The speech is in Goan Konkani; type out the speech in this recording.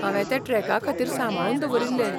हांवें ते ट्रॅकाखातीर सांबाळून दवरिल्ले.